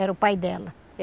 Era o pai dela.